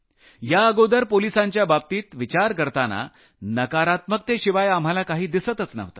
याअगोदर पोलिसांच्या बाबतीत विचार करताना नकारात्मकतेशिवाय आम्हाला काही दिसतच नव्हतं